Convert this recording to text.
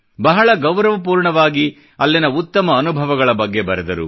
ಬಹಳ ಗೌರವ ಪೂರ್ಣವಾಗಿ ಅಲ್ಲಿಯ ಉತ್ತಮ ಅನುಭವಗಳ ಬಗ್ಗೆ ಬರೆದರು